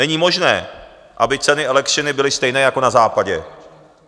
Není možné, aby ceny elektřiny byly stejné jako na Západě.